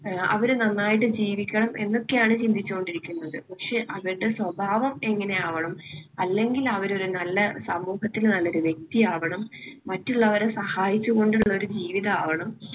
അവര് നന്നായിട്ട് ജീവിക്കണം എന്നൊക്കെയാണ് ചിന്തിച്ചു കൊണ്ടിരിക്കുന്നത്. പക്ഷേ അവരുടെ സ്വഭാവം എങ്ങനെയാവണം അല്ലെങ്കിൽ അവര് ഒരു നല്ല സമൂഹത്തിന് നല്ലൊരു വ്യക്തി ആവണം. മറ്റുള്ളവരെ സഹായിച്ചുകൊണ്ടുള്ള ഒരു ജീവിതം ആവണം.